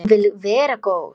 Hún vill vera góð.